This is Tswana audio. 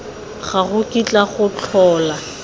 ga go kitla go tlhola